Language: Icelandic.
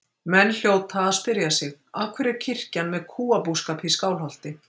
Menn hljóta að spyrja sig: Af hverju er kirkjan með kúabúskap í Skálholti?